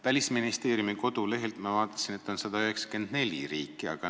Välisministeeriumi kodulehelt ma vaatasin, et ÜRO-s on 194 riiki.